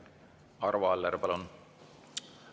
Arvo Aller, palun!